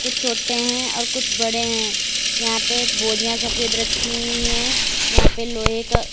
छोटे हैं और कुछ बड़े हैं यहाँ पे बोरिया सफ़ेद रखी हुई हैं यहाँ पे लोहे का।